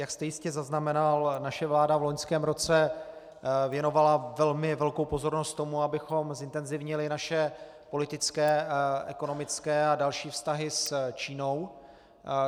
Jak jste jistě zaznamenal, naše vláda v loňském roce věnovala velmi velkou pozornost tomu, abychom zintenzivnili naše politické, ekonomické a další vztahy s Čínou.